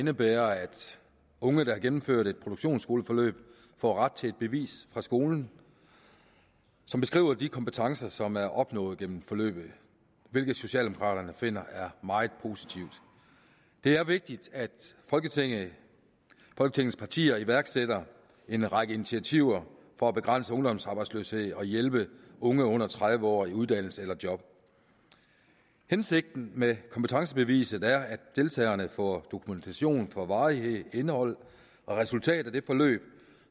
indebærer at unge der har gennemført et produktionsskoleforløb får ret til et bevis fra skolen som beskriver de kompetencer som er opnået gennem forløbet hvilket socialdemokraterne finder er meget positivt det er vigtigt at folketingets partier iværksætter en række initiativer for at begrænse ungdomsarbejdsløsheden og hjælpe unge under tredive år i uddannelse eller job hensigten med kompetencebeviset er at deltagerne får dokumentation for varigheden indholdet og resultatet af det forløb